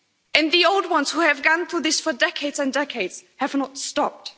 And the old ones who have gone through this for decades and decades have not stopped.